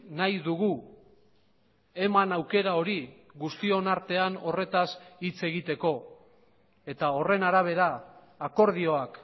nahi dugu eman aukera hori guztion artean horretaz hitz egiteko eta horren arabera akordioak